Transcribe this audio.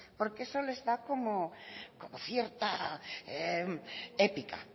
porque eso les da como cierta épica